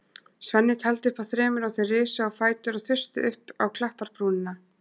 Svenni taldi upp að þremur og þeir risu á fætur og þustu upp á klapparbrúnina.